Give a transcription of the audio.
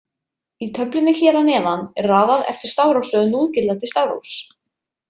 Í töflunni hér að neðan er raðað eftir stafrófsröð núgildandi stafrófs.